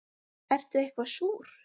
Ertu eitthvað súr?